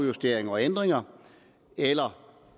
justeringer og ændringer eller